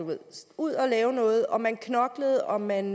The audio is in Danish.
ud at lave noget og man knoklede og man